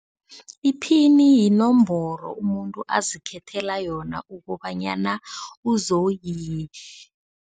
Iphini yinomboro umuntu azikhethela yona ukobanyana